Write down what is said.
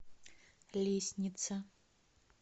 лестница